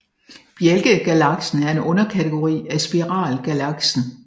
Bjælkegalaksen er en underkategori af spiralgalaksen